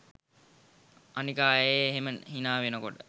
අනික ආයෙ එහෙම හිනා වෙනකොට